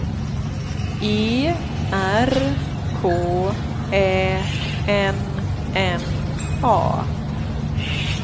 E R K Ä N N A